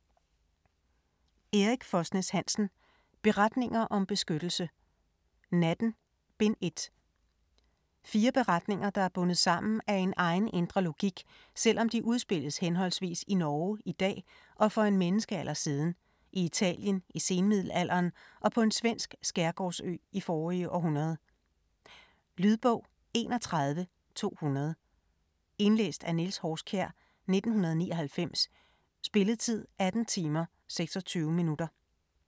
Hansen, Erik Fosnes: Beretninger om beskyttelse: Natten: Bind 1 Fire beretninger der er bundet sammen af en egen, indre logik, selvom de udspilles henholdsvis i Norge i dag og for en menneskealder siden, i Italien i senmiddelalderen og på en svensk skærgårdsø i forrige århundrede. Lydbog 31200 Indlæst af Niels Horskjær, 1999. Spilletid: 18 timer, 26 minutter.